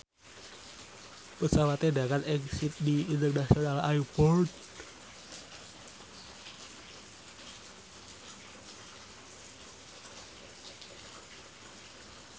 pesawate ndharat ing Sydney International Airport